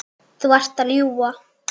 Þú ert að ljúga!